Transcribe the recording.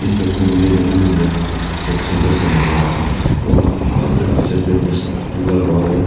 इस तस्वीर में मुझे एक सुंदर सा नजारा है और वहां पे बकाफी सारे बम्बूस उगा हुआ है।